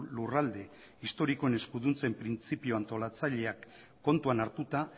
lurralde historikoen eskuduntzen printzipio antolatzaileak kontuan hartuta